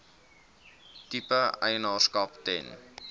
tipe eienaarskap ten